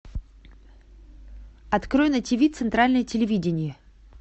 открой на тиви центральное телевидение